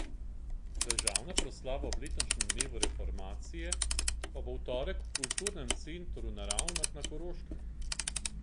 Državna proslava ob letošnjem dnevu reformacije pa bo v torek v Kulturnem centru na Ravnah na Koroškem.